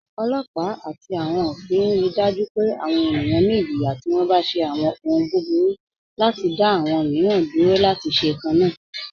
Ọlọpa ati awọn ofin rí daju pẹ̀ awọn ènìyàn ní ìjìyà tí wọ́n bá ṣe awọn òhùn búburú, láti dá awọn míìran dúró láti ṣe kanna.